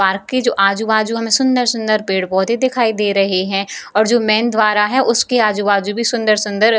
park के जो आजु-बाजु में सुंदर-सुंदर पेड़-पौधे दिखाई दे रहे हैं और जो मैन द्वार है उसके भी आजु-बाजु भी सुंदर-सुंदर --